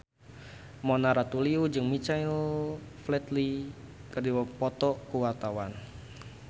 Mona Ratuliu jeung Michael Flatley keur dipoto ku wartawan